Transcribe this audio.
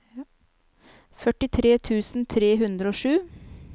førtitre tusen tre hundre og sju